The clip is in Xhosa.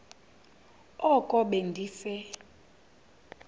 oko be ndise